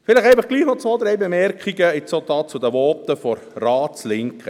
Vielleicht doch noch zwei, drei Bemerkungen zu den Voten der Ratslinken.